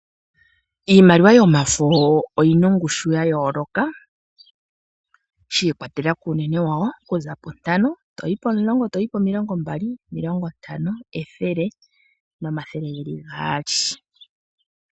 Iimaliwa yomafo oyi na ongushu ya yooloka shi ikwatelela kuunene wawo, okuza puntano toyi pomulongo, toyi pomilongo mbali, omilongo ntano, ethele nomathele ge li gaali.